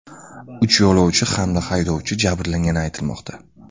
Uch yo‘lovchi hamda haydovchi jabrlangani aytilmoqda.